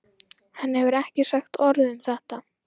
Hann hefur ekki sagt orð um þetta.